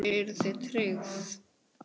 Karen: Eruð þið tryggð?